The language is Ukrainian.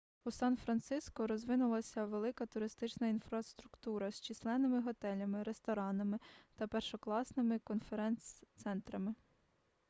у сан-франциско розвинулася велика туристична інфраструктура з численними готелями ресторанами та першокласними конференц-центрами